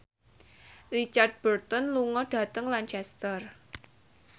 Richard Burton lunga dhateng Lancaster